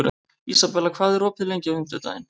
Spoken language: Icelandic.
Ísabella, hvað er opið lengi á fimmtudaginn?